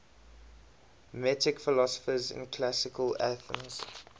metic philosophers in classical athens